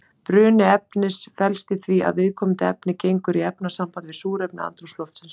Bruni efnis felst í því að viðkomandi efni gengur í efnasamband við súrefni andrúmsloftsins.